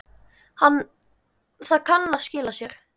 Það kann að skila sér.